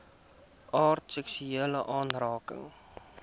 aard seksuele aanranding